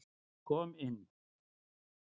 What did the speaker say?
Kom inn.